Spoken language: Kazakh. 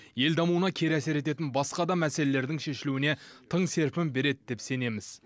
ел дамуына кері әсер ететін басқа да мәселелердің шешілуіне тың серпін береді деп сенеміз